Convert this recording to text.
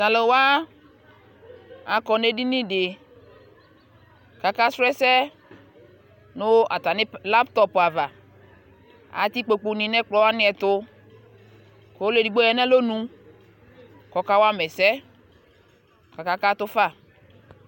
taluwaa akɔ ne edini de kakasrɔ ese nu atani laptop ava ati ikpoku ni ne ekplɔ wanie etu ku ɔliɛ edigbo ya no alonu kɔkawama ese kɔka katufa